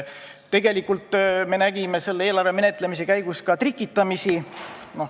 Tegelikult me nägime selle eelarve menetlemise käigus ka trikitamist.